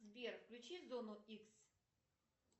сбер включи зону икс